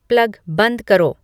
plug बंद करो